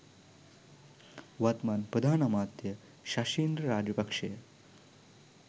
වත්මන් ප්‍රධාන අමාත්‍ය ශෂින්ද්‍ර රාජපක්ෂය